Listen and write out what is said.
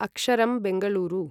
अक्षरम्, Bengaluru